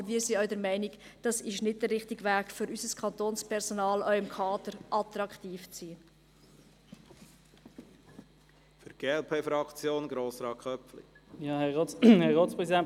Aber wir sind auch der Meinung, dass sei nicht der richtige Weg, um für unser Kantonspersonal auch im Bereich des Kaders attraktiv zu sein.